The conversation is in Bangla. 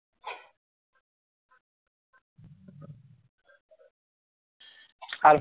আর